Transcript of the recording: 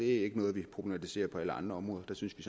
ikke noget vi problematiserer på alle andre områder der synes vi